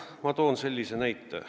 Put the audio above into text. Ma toon sellise näite.